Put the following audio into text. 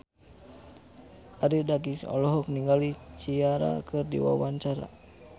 Arie Daginks olohok ningali Ciara keur diwawancara